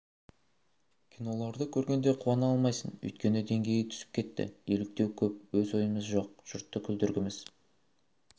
киноларды көргенде қуана алмайсың өйткені деңгей түсіп кетті еліктеу көп өз ойымыз жоқ жұртты күлдіргіміз